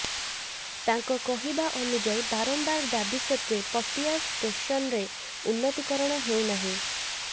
ତାଙ୍କ କହିବାନୁଯାୟୀ ବାରମ୍ବାର ଦାବି ସତ୍ତ୍ୱେ ପଟିଆ ଷ୍ଟେସନ୍ର ଉନ୍ନତିକରଣ ହେଉନାହିଁ